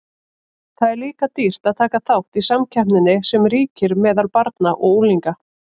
Það er líka dýrt að taka þátt í samkeppninni sem ríkir meðal barna og unglinga.